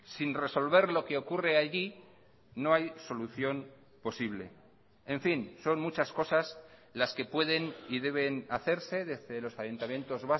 sin resolver lo que ocurre allí no hay solución posible en fin son muchas cosas las que pueden y deben hacerse desde los ayuntamientos